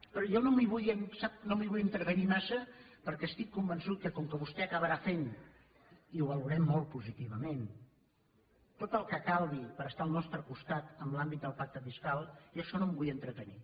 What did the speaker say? però jo sap no m’hi vull entretenir massa perquè estic convençut que com que vostè acabarà fent i ho valorem molt positivament tot el que calgui per estar al nostre costat en l’àmbit del pacte fiscal jo en això no em vull entretenir